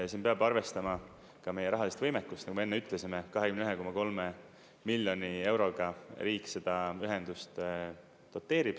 Siin peab arvestama ka meie rahalist võimekust, nagu ma enne ütlesin, 21,3 miljoni euroga riik seda ühendust doteerib.